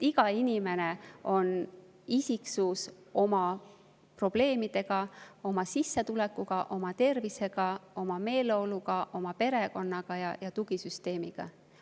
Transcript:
Iga inimene on isiksus oma probleemidega, oma sissetulekuga, oma tervisega, oma meeleoluga, oma perekonnaga ja tugisüsteemiga.